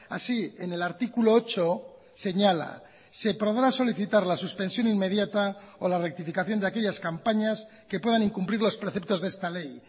así en el artículo ocho señala se podrá solicitar la suspensión inmediata o la rectificación de aquellas campañas que puedan incumplir los preceptos de esta ley